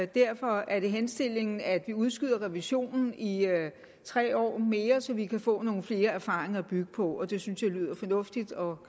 derfor er det henstillingen at vi udskyder revisionen i i tre år mere så vi kan få nogle flere erfaringer at bygge på og det synes jeg lyder fornuftigt og